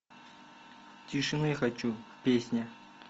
тишины хочу песня